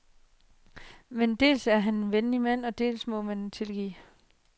Men dels er han en venlig mand og dels må man tilgive.